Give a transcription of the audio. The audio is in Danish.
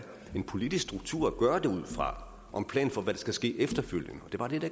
politisk struktur at gøre det ud fra og en plan for hvad der skal ske efterfølgende og det